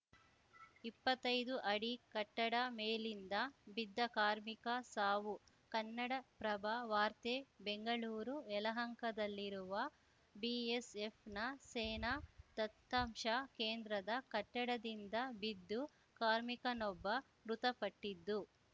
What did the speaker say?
ಇಪ್ಪತ್ತೈದು ಅಡಿ ಕಟ್ಟಡ ಮೇಲಿಂದ ಬಿದ್ದು ಕಾರ್ಮಿಕ ಸಾವು ಕನ್ನಡಪ್ರಭ ವಾರ್ತೆ ಬೆಂಗಳೂರು ಯಲಹಂಕದಲ್ಲಿರುವ ಬಿಎಸ್‌ಎಫ್‌ನ ಸೇನಾ ದತ್ತಾಂಶ ಕೇಂದ್ರದ ಕಟ್ಟಡದಿಂದ ಬಿದ್ದು ಕಾರ್ಮಿಕನೊಬ್ಬ ಮೃತಪಟ್ಟಿದ್ದು